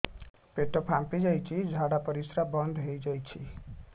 ପେଟ ଫାମ୍ପି ଯାଇଛି ଝାଡ଼ା ପରିସ୍ରା ବନ୍ଦ ହେଇଯାଇଛି